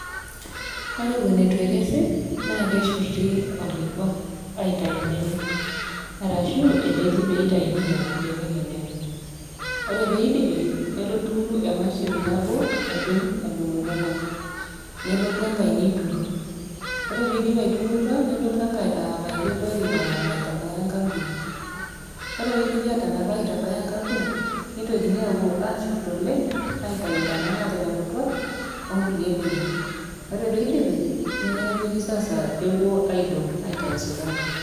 Ore eton ituekesi naa keshurti okikua aitau mbenek arashu epeji peitauni nona benek enyenak. ore peidipi nelotu emashini nabo adung adungoki enkop, nelotu enkainiturut ore peidip aitururo nelotu enkai aapaki olori onapa aitabaya enkampuni ,ore peidipi atanap aitabaya enkampuni, nitokini apo ashurt oleng aitau ntana natanaputua onkulie benek ,ore peidipi nepiki sasa pepuoi aidong aitau sukari.